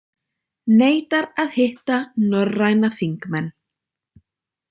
Neitar að hitta norræna þingmenn